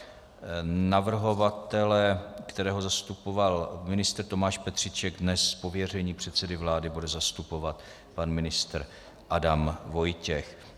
Navrhovatele, kterého zastupoval ministr Tomáš Petříček, dnes z pověření předsedy vlády bude zastupovat pan ministr Adam Vojtěch.